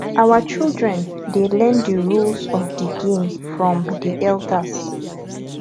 our children dey learn di rules of di game from di elders